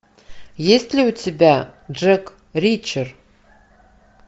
есть ли у тебя джек ричер